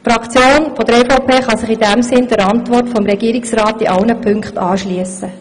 Die EVPFraktion kann sich in diesem Sinne der Regierungsantwort in allen Punkten anschliessen.